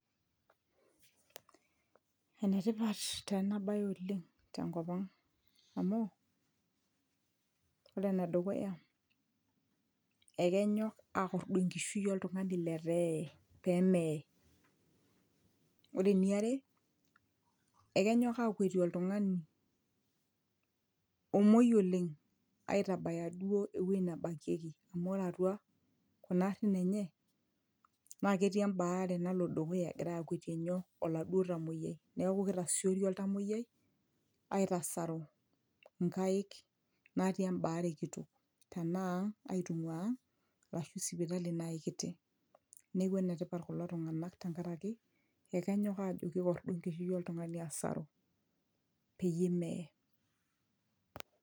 enetipat taa ena baye oleng' tenkop ang'amu ore enedukuya ekenyok akordu enkishui oltung'ani letaa eye pemeye ore eniare ekenyok akwetie oltung'ani omuoi oleng' aitabaya duo ewueji nebakieki amu ore atua kuna arrin enye naa ketii embaare nalo dukuya egirae akwetie nyoo oladuo tamuoyiai neeku kitasiori oladuo oltamuoyiai aitasaru nkaik natii embaare kitok tenaa aitung'ua ang arashu sipitali naaaji kiti neeku enetipat kulo tung'anak tenkaraki ekenyok ajo kikordu enkishui oltung'ani asaru peyie meye.